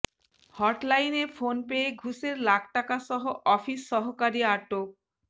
হটলাইনে phone পেয়ে ঘুষের লাখ টাকাসহ অফিস সহকারী আটক